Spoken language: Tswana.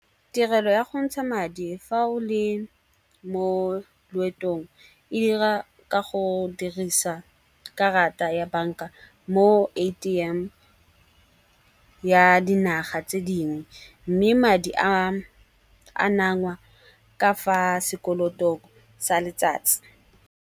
Tirelo ya go ntsha madi fa o le mo loetong e dira ka go dirisa karata ya banka mo A_T_M ya dinaga tse dingwe. Mme madi a nang ngwa ka fa sekoloto sa letsatsi.